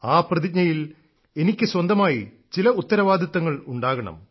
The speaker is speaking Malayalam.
ആ പ്രതിജ്ഞയിൽ എനിക്ക് സ്വന്തമായി ചില ഉത്തരവാദിത്തങ്ങൾ ഉണ്ടാകണം